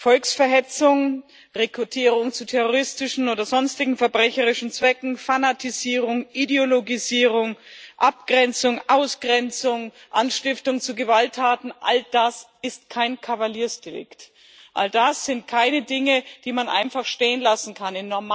Volksverhetzung, Rekrutierung zu terroristischen oder sonstigen verbrecherischen Zwecken, Fanatisierung, Ideologisierung, Abgrenzung, Ausgrenzung, Anstiftung zu Gewalttaten all das ist kein Kavaliersdelikt, all das sind keine Dinge, die man einfach stehen lassen kann.